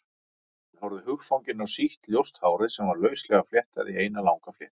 Hann horfði hugfanginn á sítt, ljóst hárið sem var lauslega fléttað í eina langa fléttu.